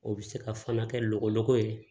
O bɛ se ka fana kɛ lɔgɔ ye